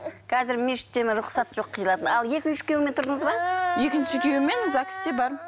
қазір мешіттен рұқсат жоқ қиылатын ал екінші күйеуіңмен тұрдыңыз ба екінші күйеуіммен загс те бармын